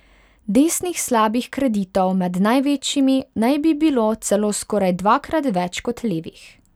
Desnih slabih kreditov med največjimi naj bi bi bilo celo skoraj dvakrat več kot levih.